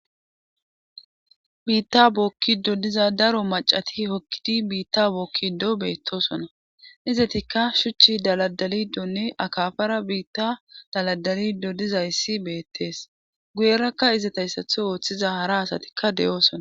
Biitta bookkido diza daro macati hokkidi biitta bookkido beettosona izetikka shuchchi daladalidonne akafara biitta daladalido dizayssi beettees guyerakka izatayssatho ooththiza hara asatikka de'oosona.